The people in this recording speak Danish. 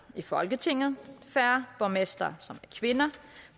i folketinget færre borgmestre